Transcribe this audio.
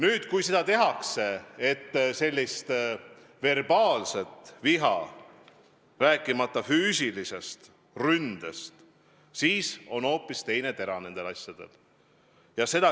Ent kui sellega kaasneb verbaalne viha, rääkimata füüsilisest ründest, siis on nendel asjadel hoopis teine tera.